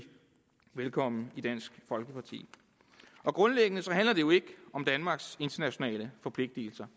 velkommen i dansk folkeparti grundlæggende handler det jo ikke om danmarks internationale forpligtelser